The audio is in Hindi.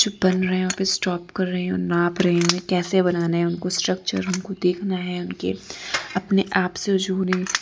र बन रहे हैं ऑफिस स्टॉप कर रही हूं नाप रही हूं कैसे बनाना है उनको स्ट्रक्चर उनको देखना है उनके अपने आप से जुड़े --